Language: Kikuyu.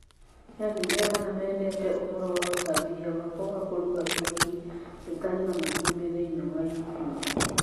Nĩ andũ aigana mendete ũhoro wa úcabithia wakwa wa kũruga keki itarĩ na matumbĩ thĩinĩ wa YouTube?